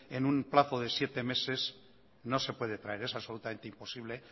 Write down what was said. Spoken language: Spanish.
en un plazo de siete meses no se puede traer es absolutamente imposible